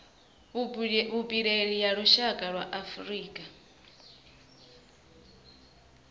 vhupileli ya lushaka ya afurika